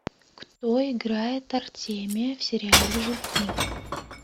кто играет артемия в сериале жуки